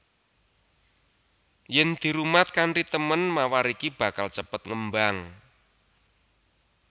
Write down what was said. Yen dirumat kanthi temen mawar iki bakal cepet ngembang